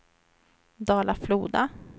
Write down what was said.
Dala-Floda